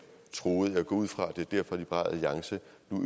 troede jeg går ud fra at det er derfor liberal alliance